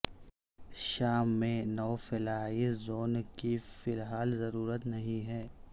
شام میں no fly zone کی فی الحال ضرورت نہیں ہے